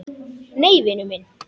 Nei, vinur minn!